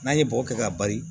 N'an ye bɔgɔ kɛ ka bali